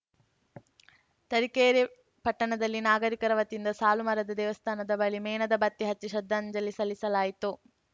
ತರೀಕೆರೆ ಪಟ್ಟಣದಲ್ಲಿ ನಾಗರಿಕರ ವತಿಯಿಂದ ಸಾಲು ಮರದ ದೇವಸ್ಥಾನದ ಬಳಿ ಮೇಣದ ಬತ್ತಿ ಹಚ್ಚಿ ಶ್ರದ್ಧಾಂಜಲಿ ಸಲ್ಲಿಸಲಾಯಿತು